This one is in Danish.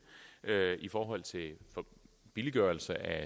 i forhold til en billiggørelse af